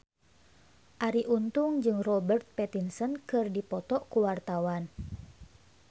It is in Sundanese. Arie Untung jeung Robert Pattinson keur dipoto ku wartawan